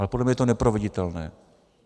Ale podle mě je to neproveditelné.